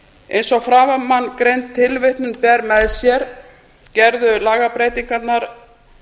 eins og framangreind tilvitnun ber með sér gerðu lagabreytingarnar